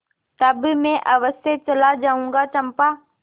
तब मैं अवश्य चला जाऊँगा चंपा